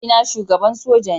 Mahaifina shugaban soja ne.